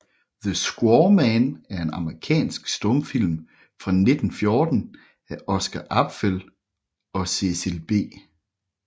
The Squaw Man er en amerikansk stumfilm fra 1914 af Oscar Apfel og Cecil B